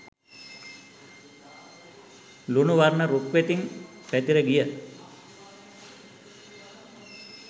ලුණු වර්ණ රුක් වෙතින් පැතිර ගිය